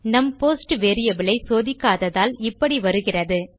நம் post variable ஐ சோதிக்காததால் இபப்டி வருகிறது